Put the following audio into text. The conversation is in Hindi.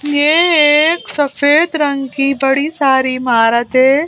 यह एक सफेद रंग की बड़ी सारी इमारत है।